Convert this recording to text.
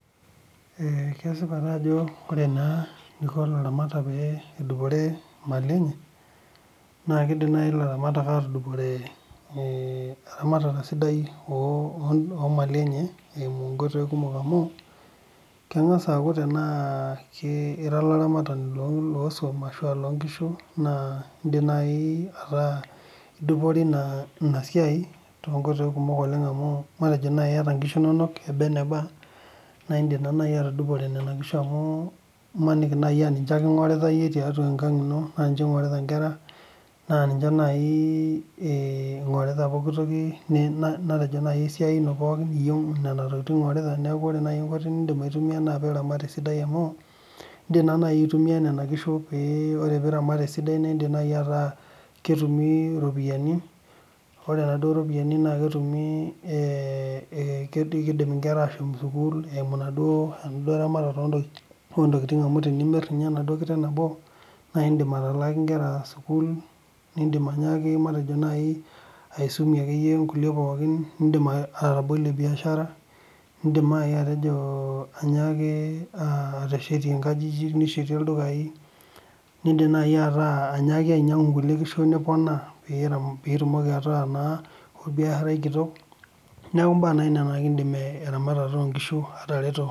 Ore eneiko ilaramatak pee edupore imali enye, naa keidim aatudupore eramatare sidaioo Mali enye esimu inkoitoi kumok amu, kengas aaku tena IRA olaramatani loo swam naa idimayu nidupore ina siai oleng amu idimayu niata nkishu inonok eba eneba naa ninche ake ingorita naa ninche eingorita nkera neaku inaramat esidai naa itumie iropiyiani naapuoie inkera sukuul, amu tenimit naa kelak sukuul, nidim atabolie {biashara} ishitur nkajijik o ildukai.